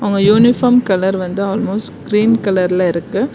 அவங்க uniform colour வந்து almost green கலர்ல இருக்கு.